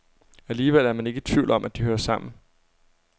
Alligevel er man ikke i tvivl om, at de hører sammen.